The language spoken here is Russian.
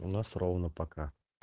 у нас ровно пока